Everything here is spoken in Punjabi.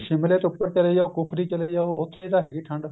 ਸ਼ਿਮਲੇ ਤੋਂ ਉੱਪਰ ਚਲੇ ਜਾਓ ਕੁਫਰੀ ਚਲੇ ਜਾਓ ਉੱਥੇ ਤਾਂ ਹੈਗੀ ਠੰਡ